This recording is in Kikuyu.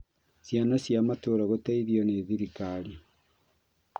Ciana cia matũũra gũteithio nĩ thirikari